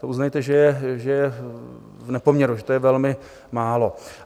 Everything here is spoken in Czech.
To uznejte, že je v nepoměru, že to je velmi málo.